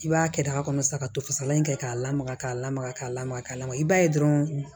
I b'a kɛ daga kɔnɔ sa ka to fasalan kɛ k'a lamaga k'a lamaga k'a lamaga k'a lamaga i b'a ye dɔrɔn